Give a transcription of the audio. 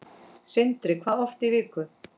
Sindri: Hvað oft í viku?